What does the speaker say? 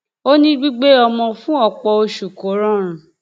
ó ní gbígbé ọmọ fún ọpọ oṣù kò rọrùn